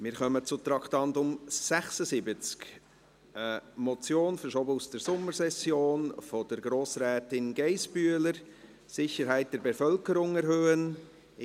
Wir kommen zum Traktandum 76, einer Motion von Grossrätin Geissbühler, verschoben aus der Sommersession, «Sicherheit der Bevölkerung erhöhen [...]».